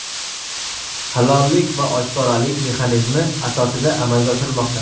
halollik va oshkoralik mexanizmi asosida amalga oshirilmoqda.